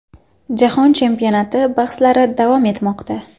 Jahon chempionati bahslari davom etmoqda.